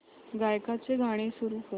गायकाचे गाणे सुरू कर